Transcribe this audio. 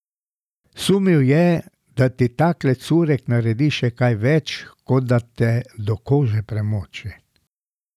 Sumil je, da ti takle curek naredi še kaj več, kot da te do kože premoči.